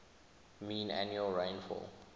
mean annual rainfall